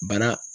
Bara